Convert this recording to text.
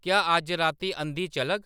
क्या अज्ज राती अंधी चलग